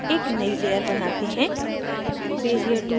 आगे एक नयी layer बनाते हैं